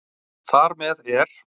Þar með er